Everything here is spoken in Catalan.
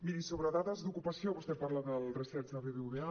miri sobre dades d’ocupació vostè parla del research del bbva